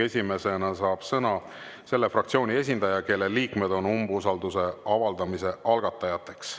Esimesena saab sõna selle fraktsiooni esindaja, kelle liikmed on umbusalduse avaldamise algatajateks.